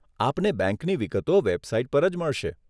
આપને બેંકની વિગતો વેબસાઈટ પર જ મળશે.